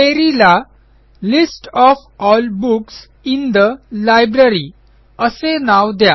query ला list of all books in the library असे नाव द्या